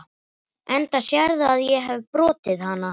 Enda sérðu að ég hefi brotið hana.